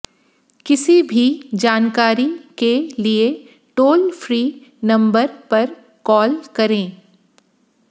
किसी भी जानकारी के लिए टोल फ्री नंबर पर कॉल करें